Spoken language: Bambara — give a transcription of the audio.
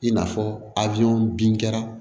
I n'a fɔ abe bin kɛra